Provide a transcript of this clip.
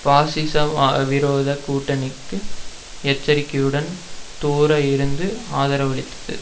பாசிசவிரோத கூட்டணிக்கு எச்சரிக்கையுடன் தூர இருந்து ஆதரவளித்தது